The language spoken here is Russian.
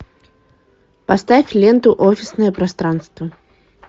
поставь ленту офисное пространство